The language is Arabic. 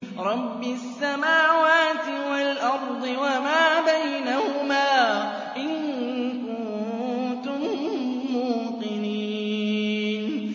رَبِّ السَّمَاوَاتِ وَالْأَرْضِ وَمَا بَيْنَهُمَا ۖ إِن كُنتُم مُّوقِنِينَ